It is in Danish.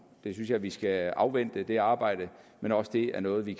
jeg synes at vi skal afvente det arbejde men også det er noget vi